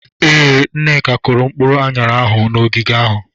Ee, Nneka kụrụ mkpụrụ aṅara ahụ n'ogige ahụ.